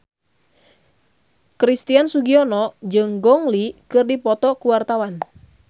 Christian Sugiono jeung Gong Li keur dipoto ku wartawan